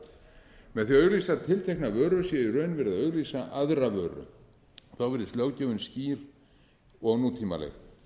vöru með því að auglýsa tiltekna vöru sé í raun verið að auglýsa aðra vöru þá virðist löggjöfin skýr og nútímaleg